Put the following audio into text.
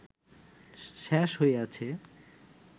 শেষ হইয়াছে